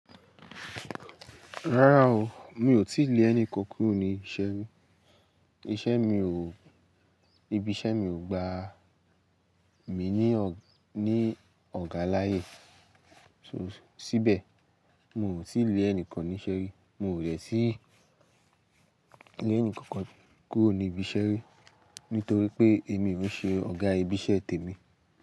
Rárá o, mi ò tíì lé ẹnì kankan kúrò ní ìṣe rí. Iṣẹ́ mi ò, ibi iṣẹ́ mi ò gba mi ní ọ̀ga láàyè síbẹ̀. Mi ò tì lé ẹnìkan níṣe rí. Mi ò dẹ̀ tíì lé ẹnìkankan kúrò ní ibi iṣẹ́ rí nítorí pé èmi ò ń ṣe ọ̀gá ibi iṣẹ́ tèmi.